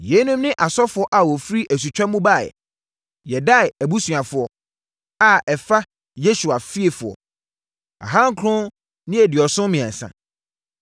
Yeinom ne asɔfoɔ a wɔfiri asutwa mu baeɛ: 1 Yedaia abusuafoɔ (a ɛfa Yesua fiefoɔ) 2 973 1